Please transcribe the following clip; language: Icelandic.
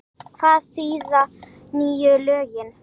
Hvað þýða nýju lögin?